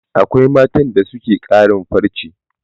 Akwai matan da suke ƙarin farce